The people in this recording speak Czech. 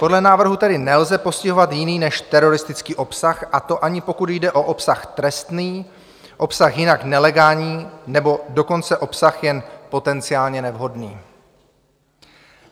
Podle návrhu tedy nelze postihovat jiný než teroristický obsah, a to ani pokud jde o obsah trestný, obsah jinak nelegální, nebo dokonce obsah jen potenciálně nevhodný.